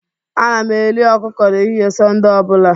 Ana m eri ọkụkọ n'ehihie Sọnde ọ bụla